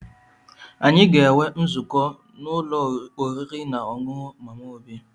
Anyị ga-enwe nzukọ n'ụlọ oriri na ọṅụṅụ Mama Obi